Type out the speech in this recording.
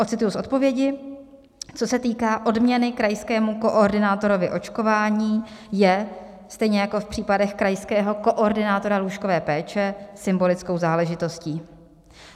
Ocituji z odpovědi: Co se týká odměny krajskému koordinátorovi očkování, je stejně jako v případech krajského koordinátora lůžkové péče symbolickou záležitostí.